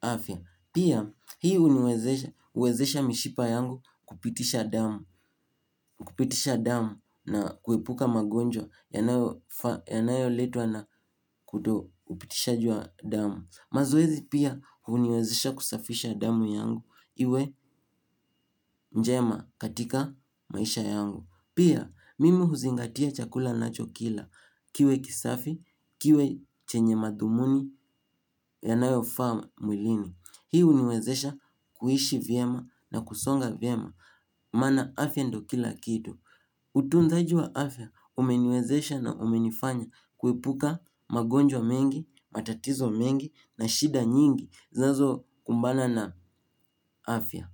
afya. Pia hii huniwezesha mishipa yangu kupitisha damu kupitisha damu na kuepuka magonjwa yanayoletwa na kutokupitishwaji wa amu mazoezi pia huniwezesha kusafisha damu yangu iwe njema katika maisha yangu. Pia mimi huzingatia chakula ninachokila kiwe kisafi kiwe chenye madhumuni yanayofaa mwilini. Hii huniwezesha kuishi vyema na kusonga vyema. Maana afya ndio kila kitu. Utunzaji wa afya umeniwezesha na umenifanya kuepuka magonjwa mengi, matatizo mengi na shida nyingi zinazo kumbana na afya.